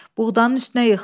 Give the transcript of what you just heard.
Buğdanın üstünə yıxıldım.